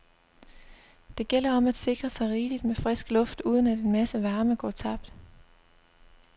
Det gælder om at sikre sig rigeligt med frisk luft uden at en masse varme går tabt.